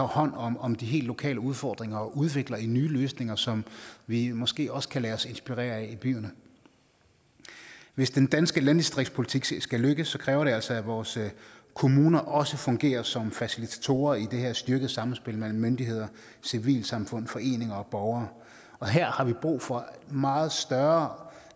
hånd om om de helt lokale udfordringer og udvikler nye løsninger som vi måske også kan lade os inspirere af i byerne hvis den danske landdistriktspolitik skal lykkes kræver det altså at vores kommuner også fungerer som facilitatorer i det her styrkede samspil mellem myndigheder civilsamfund foreninger og borgere og her har vi brug for meget større